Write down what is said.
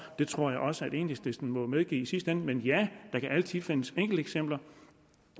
det tror jeg også at enhedslisten må medgive i sidste ende men ja der kan altid findes enkelteksempler